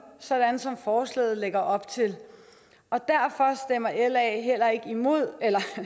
sådan som forslaget lægger op til og derfor stemmer la imod